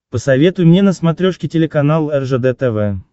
посоветуй мне на смотрешке телеканал ржд тв